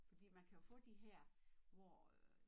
Fordi man kan jo få de her hvor øh